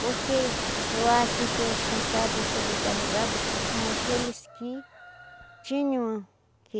Porque eu acho que os cansados e sobrecarregados são aqueles que tinham que